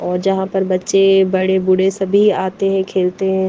और जहां पर बच्चे बड़े बूढ़े सभी आते हैं खेलते हैं।